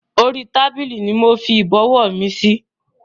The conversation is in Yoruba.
Orí tábìlì ni mofi Ìbọ̀wọ́ mi síí